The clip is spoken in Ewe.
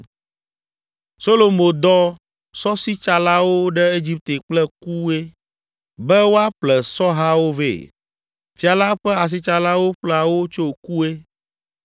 Solomo dɔ sɔsitsalawo ɖe Egipte kple Kue be woaƒle sɔhawo vɛ. Fia la ƒe asitsalawo ƒlea wo tso Kue.